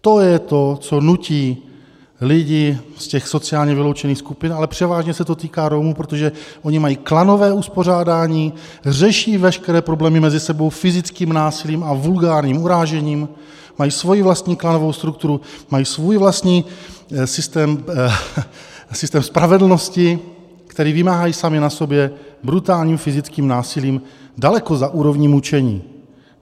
To je to, co nutí lidi z těch sociálně vyloučených skupin, ale převážně se to týká Romů, protože oni mají klanové uspořádání, řeší veškeré problémy mezi sebou fyzickým násilím a vulgárním urážením, mají svoji vlastní klanovou strukturu, mají svůj vlastní systém spravedlnosti, který vymáhají sami na sobě brutálním fyzickým násilím, daleko za úrovní mučení.